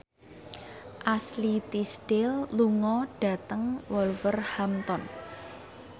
Ashley Tisdale lunga dhateng Wolverhampton